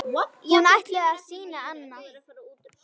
Hún ætlaði að sýna annað.